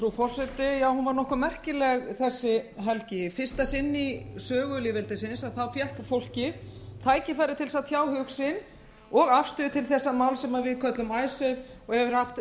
frú forseti hún var nokkuð merkileg þessi helgi í fyrsta sinn í sögu lýðveldisins fékk fólkið tækifæri til að tjá hug sinn og afstöðu til þessa máls sem við köllum icesave og hefur haft